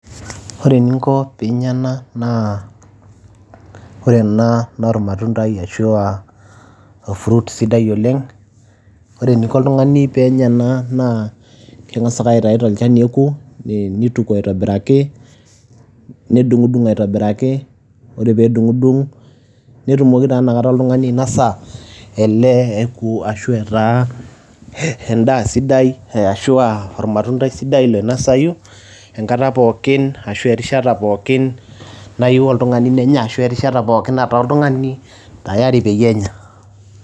Ore eninko piinya ena naa kore ena naa ormatundai ashu aa orfruit sidai oleng'. Ore eniko oltung'ani peenya ena naa keng'asa ake aitayu tolchani neeku ni nituku aitobiraki, nedung'dung' aitobiraki. Ore peedung'dung' netumoki taa inakata oltung'ani ainasa ele eeku ashu etaa endaa sidai ee ashu aa ormatundai sidai loinasayu enkata pookin ashu erishata pookin nayiu oltung'ani nenya ashu erishata pookin nataa oltung'ani tayari peenya.